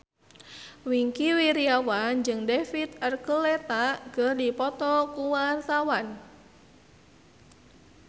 Wingky Wiryawan jeung David Archuletta keur dipoto ku wartawan